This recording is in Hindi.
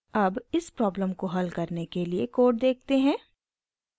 अब इस प्रॉब्लम को हल करने के लिए कोड देखते हैं